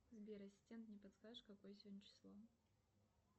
сбер ассистент не подскажешь какое сегодня число